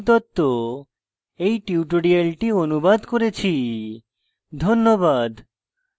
আমি কৌশিক দত্ত এই টিউটোরিয়ালটি অনুবাদ করেছি ধন্যবাদ